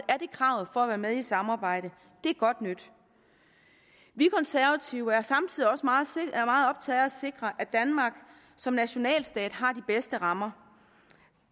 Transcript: er det kravet for at være med i samarbejdet det er godt nyt vi konservative er samtidig også meget optaget af at sikre at danmark som nationalstat har de bedste rammer